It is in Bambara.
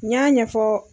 N y'a ɲɛfɔ